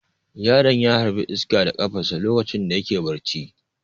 Yaron ya harbi iska da kafarsa lokacin da yake barci.